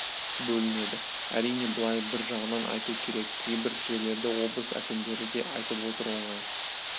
бөлінеді әрине былай бір жағынан айту керек кейбір жерлерде облыс әкімдері де айтып отыр оңай